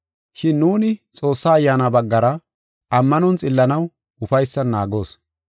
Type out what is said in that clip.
Shin nuuni Xoossaa Ayyaana baggara ammanon xillanaw ufaysan naagoos.